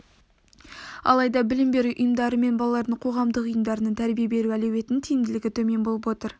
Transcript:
алайда білім беру ұйымдары мен балалардың қоғамдық ұйымдарының тәрбие беру әлеуетінің тиімділігі төмен болып отыр